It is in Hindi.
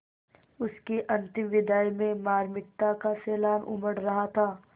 उसकी अंतिम विदाई में मार्मिकता का सैलाब उमड़ रहा था